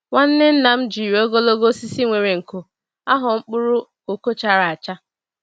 Nwanne nna m jiri ogologo osisi nwere nko, agho mkpụrụ koko chara acha.